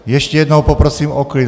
Ještě jednou poprosím o klid.